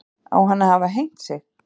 Á hann að hafa hengt sig